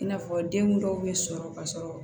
I n'a fɔ den dɔw bɛ sɔrɔ ka sɔrɔ